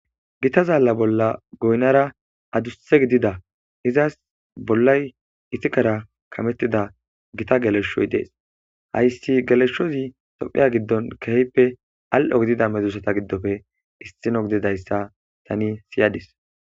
Githa zaalla bollara goynara adussa gidida izas bollay isikara kameththida githa geleshshoy des; hayssi geleshshozi toophphiya giddoni keehipe al7o gidiza medoosatha giddope isththino gidizayssa thanii siyades.